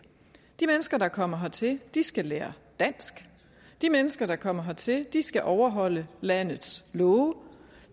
de mennesker der kommer hertil skal lære dansk de mennesker der kommer hertil skal overholde landets love